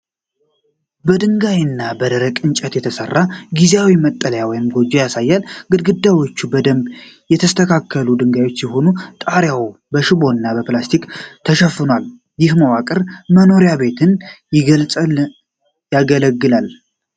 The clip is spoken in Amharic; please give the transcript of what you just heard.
በድንጋይና በደረቅ እንጨት የተሠራ ጊዜያዊ መጠለያ ወይም ጎጆ ያሳያል። ግድግዳዎቹ በደንብ ያልተስተካከሉ ድንጋዮች ሲሆኑ፣ ጣሪያውም በሽቦና በፕላስቲክ ተሸፍኗል። ይህ መዋቅር የመኖሪያ ቤትነት ያገለግላል?